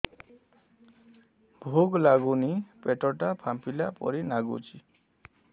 ଭୁକ ଲାଗୁନି ପେଟ ଟା ଫାମ୍ପିଲା ପରି ନାଗୁଚି